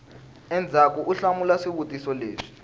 endzhaku u hlamula swivutiso leswi